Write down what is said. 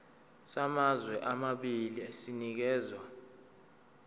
samazwe amabili sinikezwa